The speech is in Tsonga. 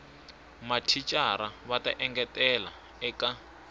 mathicara va ta engetela eka